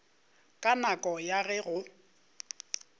ka nako ya ge go